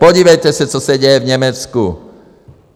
Podívejte se, co se děje v Německu.